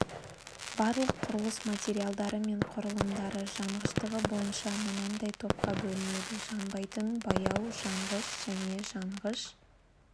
барлық құрылыс материалдары мен құрылымдары жанғыштығы бойынша мынандай топқа бөлінеді жанбайтын баяу жанғыш және жанғыш